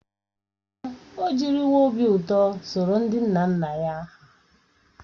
Èè, o jiriwo obi ụtọ soro ndị nna nna ya hà.